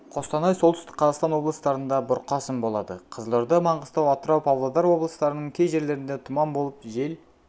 қостанай солтүстік қазақстан облыстарында бұрқасын болады қызылорда маңғыстау атырау павлодар облыстарының кей жерлерінде тұман болып жел